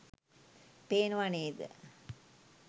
පේනව නේද?